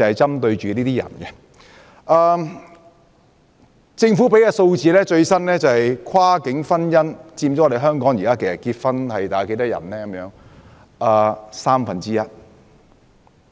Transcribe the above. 根據政府提供的最新數字，跨境婚姻佔港人結婚數目約三分之一，